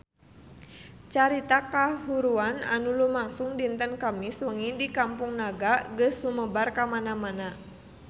Carita kahuruan anu lumangsung dinten Kemis wengi di Kampung Naga geus sumebar kamana-mana